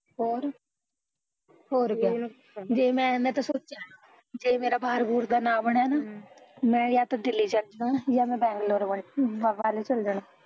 ਹੋਰ ਕਿਆ ਮੈਂ ਤਾਂ ਸੋਚਿਆ ਜੇ ਮੈਂ ਜੇ ਮੇਰਾ ਬਾਹਰ ਬੁਹਰ ਦਾ ਨਾ ਬਣਿਆ ਨਾ ਮੈਂ ਯਾ ਤਾਂ ਦਿੱਲੀ ਚੱਲ ਜਾਣਾ ਯਾ ਮੈਂ ਬੈਂਗਲੋਰ ਵਲ ਚੱਲ ਜਾਣਾ